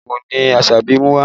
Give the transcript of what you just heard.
Omorogun ni Asabi mú wá